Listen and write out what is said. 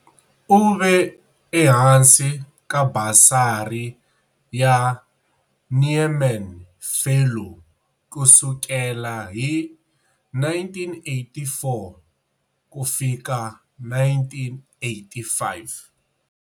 U ve ehansi ka basari ya Nieman Fellow ku sukela hi 1984 ku fika1985.